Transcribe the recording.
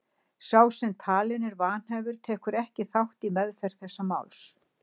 Sá sem talinn er vanhæfur tekur ekki þátt í meðferð þess máls.